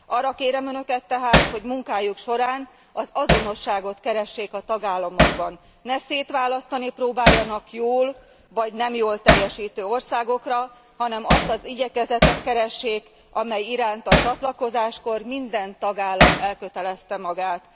Arra kérem önöket tehát, hogy munkájuk során az azonosságot keressék a tagállamokban, ne szétválasztani próbáljanak jól vagy nem jól teljesítő országokra, hanem azt az igyekezetet keressék, amely iránt a csatlakozáskor minden tagállam elkötelezte magát.